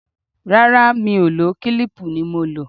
Rárá, Mi ò lò ó, kílíìpù ni mo lò.